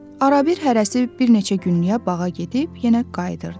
Arabir hərəsi bir neçə günlük bağa gedib yenə qayıdırdı.